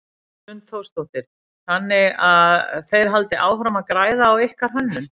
Hrund Þórsdóttir: Þannig að þeir halda áfram að græða á ykkar hönnun?